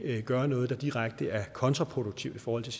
gøre noget der direkte er kontraproduktivt i forhold til